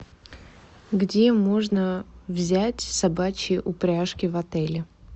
где можно взять собачьи упряжки в отеле